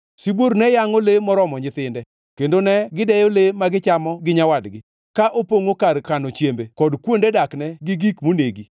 Sibuor ne yangʼo le moromo nyithinde kendo ne gideyo le ma gichamo gi nyawadgi, ka opongʼo kar kano chiembe kod kuonde dakne gi gik monegi.